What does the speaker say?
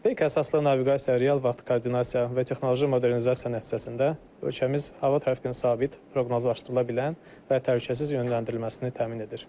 Peyk əsaslı naviqasiya, real vaxt koordinasiya və texnoloji modernizasiya nəticəsində ölkəmiz hava tərfinin sabit, proqnozlaşdırıla bilən və təhlükəsiz yönləndirilməsini təmin edir.